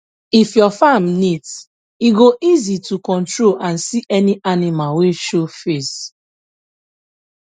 if your farm neat e go easy to control and see any animal wey show face